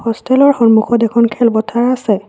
হ'ষ্টেলৰ সন্মুখত এখন খেলপথাৰ আছে।